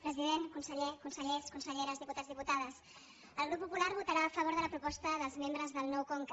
president conseller consellers conselleres diputats diputades el grup popular vo·tarà a favor de la proposta dels membres del nou con·ca